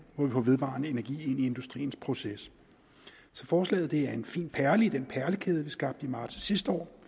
hvor vi får vedvarende energi ind i industriens proces så forslaget er en fin perle i den perlekæde vi skabte i marts sidste år